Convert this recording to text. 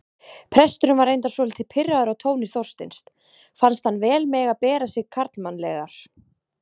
Presturinn var reyndar svolítið pirraður á tóni Þorsteins, fannst hann vel mega bera sig karlmannlegar.